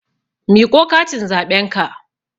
Miƙo katin zaɓen ka!